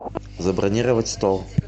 забронировать стол